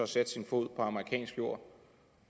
satte sin fod på amerikansk jord